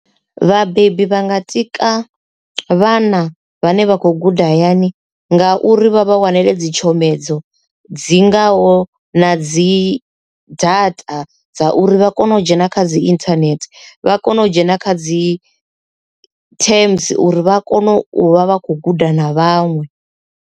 Vhabebi vha nga tika vhana vhane vha khou guda hayani ngauri vha vha wanele dzi tshomedzo dzi ngaho na dzi data dza uri vha kone u dzhena kha dzi internet vha kone u dzhena kha dzi terms uri vha kone u vha vha khou guda na vhaṅwe.